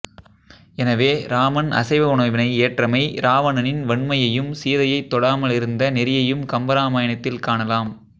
எனவே இராமன் அசைவ உணவினை ஏற்றமை இராவணனின் வன்மையும் சீதையைத் தொடாமல் இருந்த நெறியையும் கம்பராமாயணத்தில் காணலாம்